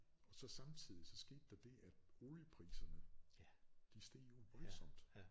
Og så samtidig så skete der det at oliepriserne de steg jo voldsomt